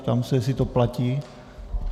Ptám se, jestli to platí.